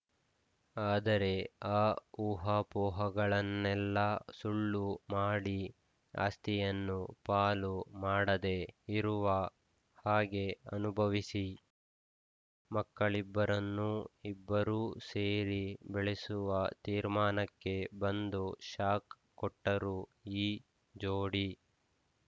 ಆದರೆ ಆ ಊಹಾಪೋಹಗಳನ್ನೆಲ್ಲ ಸುಳ್ಳು ಮಾಡಿ ಆಸ್ತಿಯನ್ನು ಪಾಲು ಮಾಡದೇ ಇರುವ ಹಾಗೇ ಅನುಭವಿಸಿ ಮಕ್ಕಳಿಬ್ಬರನ್ನೂ ಇಬ್ಬರೂ ಸೇರಿ ಬೆಳೆಸುವ ತೀರ್ಮಾನಕ್ಕೆ ಬಂದು ಶಾಕ್‌ ಕೊಟ್ಟರು ಈ ಜೋಡಿ